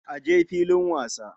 A je filin wasa.